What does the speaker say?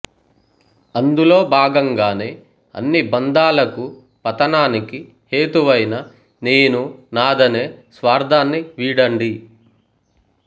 అందులో భాగంగానే అన్ని బంధాలకూ పతనానికి హేతువైన నేనూ నాథనే స్వార్థాన్ని వీడండి